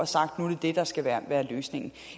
sagt nu er det der skal være være løsningen